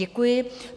Děkuji.